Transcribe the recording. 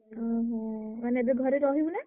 ଓହୋ ମାନେ ଏବେ ଘରେ ରହିବୁନା?